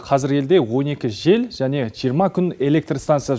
қазір елде он екі жел және жиырма күн электр станциясы